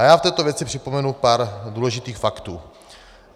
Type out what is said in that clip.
A já v této věci připomenu pár důležitých faktů.